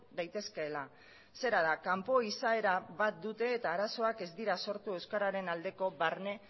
daitezkeela zera da kanpo izaera bat dute eta arazoak ez dira sortu euskararen aldeko barne